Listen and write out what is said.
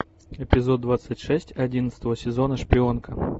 эпизод двадцать шесть одиннадцатого сезона шпионка